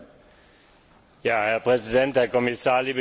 Herr Präsident, Herr Kommissar, liebe Kolleginnen und Kollegen!